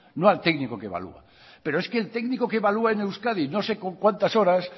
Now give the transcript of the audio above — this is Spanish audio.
no al técnico que evalúa pero es que el técnico que evalúa en euskadi no sé con cuántas horas